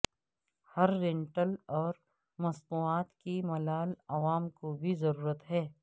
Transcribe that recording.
ہر rental اور مصنوعات کی ملال عوام کو بھی ضرورت ہے